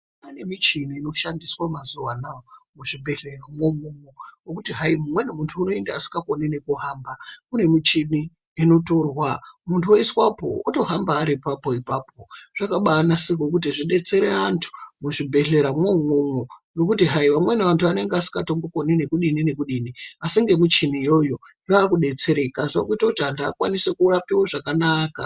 Pane michini inoshandiswa mazuva anaya muzvibhedhlera mwoimwomwo. Vokuti hai umweni muntu unoenda asingakoni kuhamba kune michini inotorwa muntu voiswapo votohamba ari papo ipapo. Zvakabanasirwa kuti zvibetsere antu muzvibhedhlera mwomwomwo ngokuti hai amweni antu anenge asingatombo koni ngekudini ngekudini. Asi ngemichini yoyo zvakubetsereka zvakutoita kuti amweni vantu vakwanise kurapiwa zvakanaka.